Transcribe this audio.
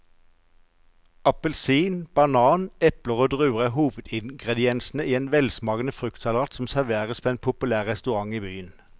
Appelsin, banan, eple og druer er hovedingredienser i en velsmakende fruktsalat som serveres på en populær restaurant i byen.